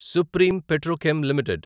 supreme petrochem limited